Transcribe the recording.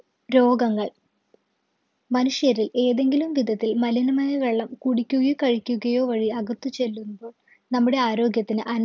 രോഗങ്ങൾ മനുഷ്യരിൽ ഏതെങ്കിലും വിധത്തിൽ മലിനമായ വെള്ളം കുടിക്കുകയും കഴിക്കുകയോ വഴി അകത്ത് ചെല്ലുമ്പോ നമ്മുടെ ആരോഗ്യത്തിന് അന